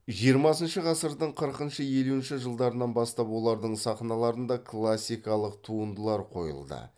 жиырмасыншы ғасырдың қырқыншы елуінші жылдарынан бастап олардың сахналарында классикалық туындылар қойылды